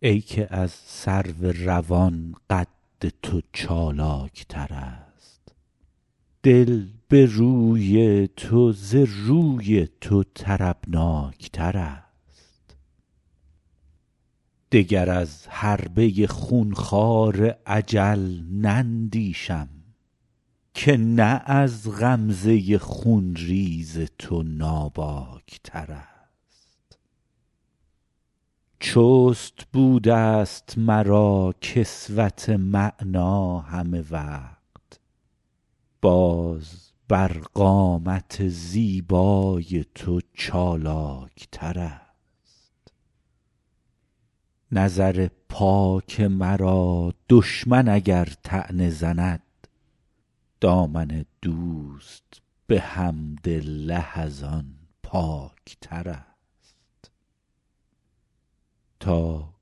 ای که از سرو روان قد تو چالاک ترست دل به روی تو ز روی تو طربناک ترست دگر از حربه خون خوار اجل نندیشم که نه از غمزه خون ریز تو ناباک ترست چست بوده ست مرا کسوت معنی همه وقت باز بر قامت زیبای تو چالاک ترست نظر پاک مرا دشمن اگر طعنه زند دامن دوست به حمدالله از آن پاک ترست تا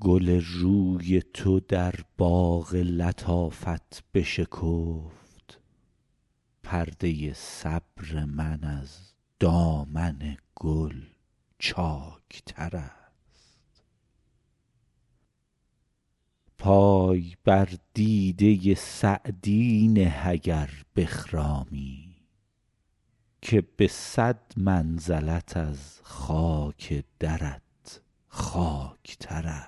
گل روی تو در باغ لطافت بشکفت پرده صبر من از دامن گل چاک ترست پای بر دیده سعدی نه اگر بخرامی که به صد منزلت از خاک درت خاک ترست